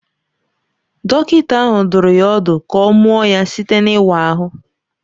Dọkịta ahụ dụrụ ya ọdụ ka ọ mụọ ya site n’ịwa ahụ.